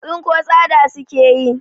Tsinko tsada suke yi.